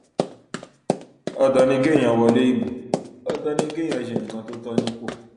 ọtọ ni kéèyàn wọlé ìbò ọtọ ni kéèyàn ṣe nǹkan tó tọ nípò